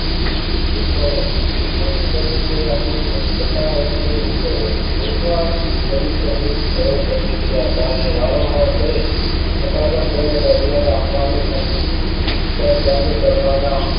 શીખેની પ્રતિક્રિયાની લોકતા એટલે વિકલન અધિસંધિત રહેલ પ્રતિક્રિયા વારંવાર કરે છતાં પણ તેની પ્રબલન માં આપવાનું ઘર બંધ કરવાના